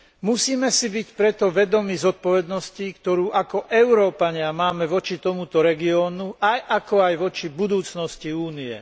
Musíme si byť preto vedomí zodpovednosti, ktorú ako Európania máme voči tomuto regiónu, ako aj voči budúcnosti Únie.